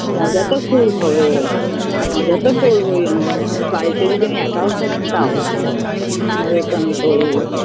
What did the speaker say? মজা তো খুব হবে এবার মজা তো করবোই আমি বাড়িতে যদি আমি একাও থাকি আমি তাও মজা তো আমি করবোই